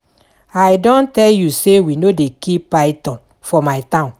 I don tell you say we no dey kill python for my town